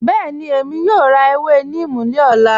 Bẹẹni, Èmi yóò rá àwọn èwè neem ni ọ̀lá